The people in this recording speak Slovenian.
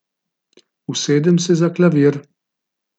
Usedem se za klavir.